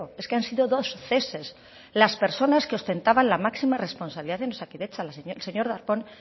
es que han sido dos ceses las personas que ostentaban la máxima responsabilidad en osakidetza el señor darpón